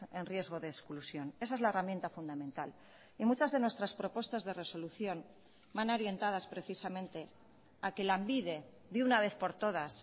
en riesgo de exclusión esa es la herramienta fundamental y muchas de nuestras propuestas de resolución van orientadas precisamente a que lanbide de una vez por todas